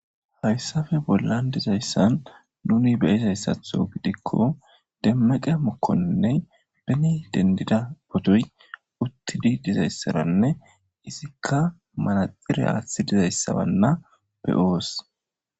Hayssafe bollan dizayssan nuni beyizayssatho gidikko demmeqe mokkoinne beni dendida botoy uttidi dizayssaranne izikka malaxire aaththi dizayssabanna beoos.